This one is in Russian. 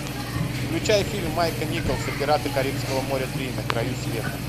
включай фильм майка николса пираты карибского моря три на краю света